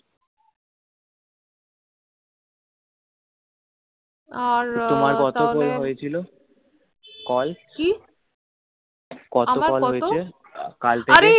আর তাহলে তোমার কতো কল হয়েছিল কল কি আমার কতো কল হয়েছিল কাল থেকে আর এ